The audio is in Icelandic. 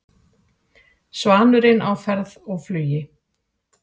Svanurinn á ferð og flugi